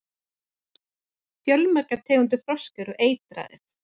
fjölmargar tegundir froska eru eitraðar